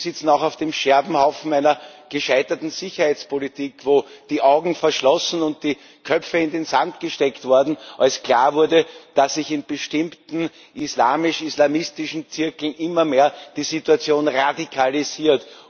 Sie sitzen auch auf dem Scherbenhaufen einer gescheiterten Sicherheitspolitik, wo die Augen verschlossen und die Köpfe in den Sand gesteckt wurden, als klar wurde, dass sich in bestimmten islamisch islamistischen Zirkeln die Situation immer mehr radikalisiert.